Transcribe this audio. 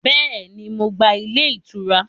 Béèni, Mo gba ilé ìtura